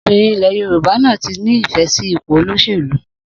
Obìrin ilé Yorùbá náà tí ní ìfẹ sí ipò olóṣèlú